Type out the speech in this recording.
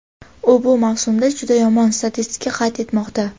U bu mavsumda juda yomon statistika qayd etmoqda.